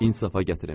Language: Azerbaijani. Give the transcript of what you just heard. İnsafa gətirim.